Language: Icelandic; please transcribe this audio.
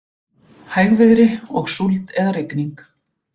Hægviðri og súld eða rigning